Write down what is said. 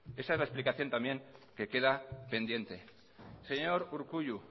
esa es la explicación también que queda pendiente señor urkullu